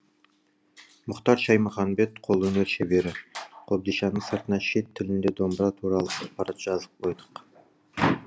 мұхтар шаймұханбет қолөнер шебері қобдишаның сыртына шет тілінде домбыра туралы ақпарат жазып қойдық